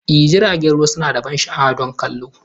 Ee, jiragen ruwa suna da ban sha'awa don kallo!